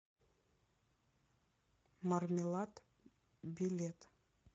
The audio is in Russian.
мармелад билет